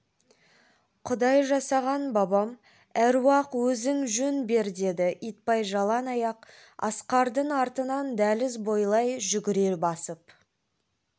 құдай жасаған бабам әруақ өзің жөн бер деді итбай жалаң аяқ асқардың артынан дәліз бойлай жүгіре басып